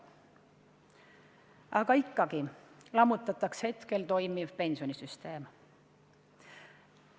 Aga ikkagi lammutatakse hetkel toimiv pensionisüsteem.